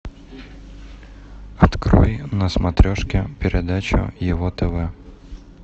открой на смотрешке передачу его тв